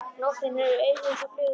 Nóttin hefur augu eins og fluga.